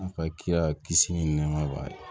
A ka kira kisi ni nɛma b'a ye